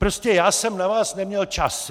Prostě já jsem na vás neměl čas.